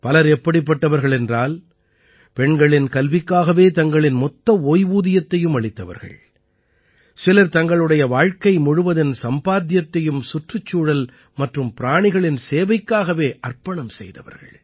பலர் எப்படிப்பட்டவர்கள் என்றால் பெண்களின் கல்விக்காகவே தங்களின் மொத்த ஓய்வூதியத்தையும் அளித்தவர்கள் சிலர் தங்களுடைய வாழ்க்கை முழுவதின் சம்பாத்தியத்தையும் சுற்றுச்சூழல் மற்றும் பிராணிகளின் சேவைக்காகவே அர்ப்பணம் செய்தவர்கள்